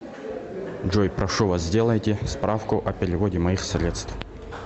джой прошу вас сделайте справку о переводе моих средств